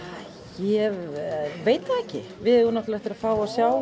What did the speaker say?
ég veit það ekki við eigum eftir að fá að sjá